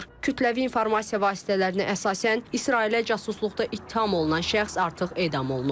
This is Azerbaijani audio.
Kütləvi informasiya vasitələrinə əsasən İsrailə casusluqda ittiham olunan şəxs artıq edam olunub.